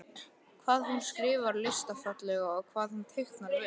Hvað hún skrifar listafallega og hvað hún teiknar vel.